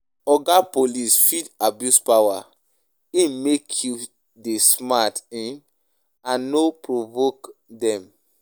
Oga Police fit abuse power; um make you dey smart um and no provoke dem.